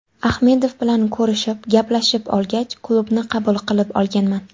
Ahmedov bilan ko‘rishib, gaplashib olgach, klubni qabul qilib olganman.